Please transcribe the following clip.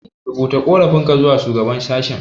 Rubuta ƙorafinka zuwa shugaban sashe.